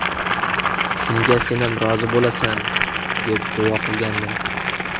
Shunga senam rozi bo‘lasan”, deb duo qilgandim.